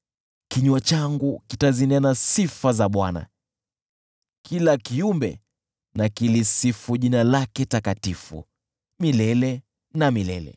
Kinywa changu kitazinena sifa za Bwana . Kila kiumbe na kilisifu jina lake takatifu milele na milele.